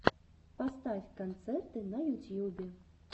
поставь концерты на ютьюбе